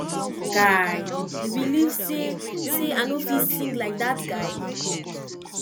guy you believe say say i no fit sing like dat guy